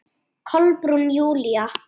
Kolbrún Júlía.